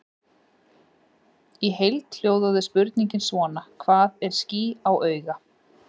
Í heild hljóðaði spurningin svona: Hvað er ský á auga?